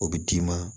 O bɛ d'i ma